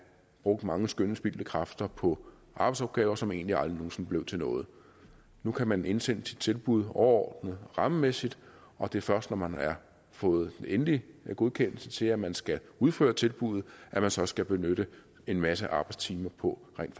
brugt mange skønne spildte kræfter på arbejdsopgaver som egentlig aldrig nogen sinde blev til noget nu kan man indsende sit tilbud overordnet rammemæssigt og det er først når man har fået den endelige godkendelse til at man skal udføre tilbuddet at man så skal benytte en masse arbejdstimer på rent